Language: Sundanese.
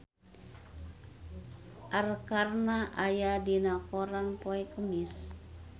Arkarna aya dina koran poe Kemis